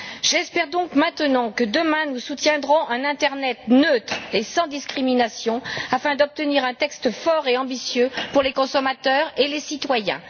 J'espère donc maintenant que demain nous soutiendrons un internet neutre et sans discrimination afin d'obtenir un texte fort et ambitieux pour les consommateurs et les citoyens.